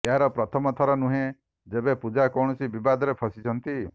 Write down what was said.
ଏହା ପ୍ରଥମଥର ନୁହଁ ଯେବେ ପୁଜା କୌଣସି ବିବାଦରେ ଫସିଛନ୍ତି